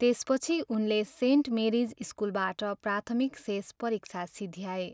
त्यसपछि उनले Saint Mary's स्कुलबाट प्राथमिक शेष परीक्षा सिध्याए।